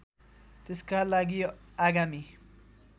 त्यसका लागि आगामी